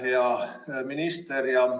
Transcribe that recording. Hea minister!